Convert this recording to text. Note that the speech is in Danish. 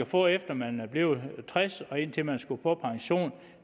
få efter at man var blevet tres år og indtil man skulle på pension